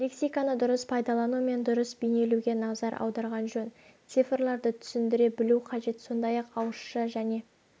лексиканы дұрыс пайдалану мен дұрыс бейнелеуге назар аударған жөн цифрларды түсіндіре білу қажет сондай-ақ ауызша және